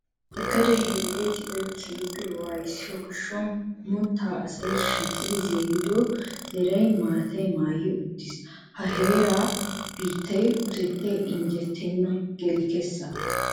Sagada heeraa di"oy keehippe wayssiyo gaasuwan moottaa asay shiiqidi zarido zaray maataa maayi uttiis. Ha heeraa biittaa utettay injjetenna geli kessa.